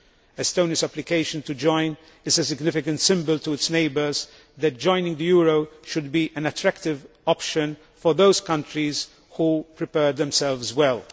Estonia's application to join is a significant symbol to its neighbours that joining the euro should be an attractive option for those countries which prepare themselves well.